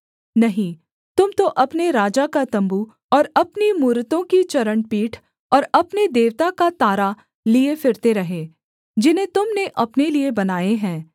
नहीं तुम तो अपने राजा का तम्बू और अपनी मूरतों की चरणपीठ और अपने देवता का तारा लिए फिरते रहे जिन्हें तुम ने अपने लिए बनाए है